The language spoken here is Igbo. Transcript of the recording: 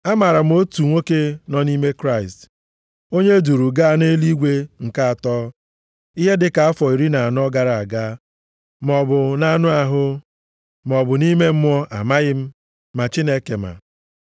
Amaara m otu nwoke nọ nʼime Kraịst, onye e duuru gaa nʼeluigwe nke atọ ihe dị ka afọ iri na anọ gara aga, maọbụ nʼanụ ahụ, maọbụ nʼime mmụọ amaghị m, ma Chineke ma.